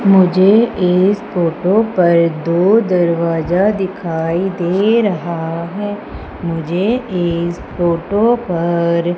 मुझे एक फोटो पर दो दरवाजा दिखाई दे रहा है मुझे इस फोटो पर--